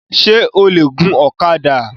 O le gun ọ̀kadà?